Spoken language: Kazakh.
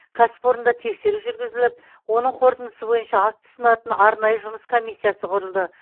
кәсіпорында тексеру жүргізіліп оның қорытындысы бойынша акт ұсынатын арнайы жұмыс комиссиясы құрылды